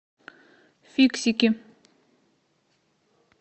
фиксики